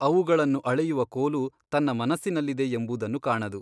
ಅವುಗಳನ್ನು ಅಳೆಯುವ ಕೋಲು ತನ್ನ ಮನಸ್ಸಿನಲ್ಲಿದೆ ಎಂಬುದನ್ನು ಕಾಣದು.